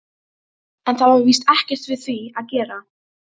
En það var víst ekkert við því að gera.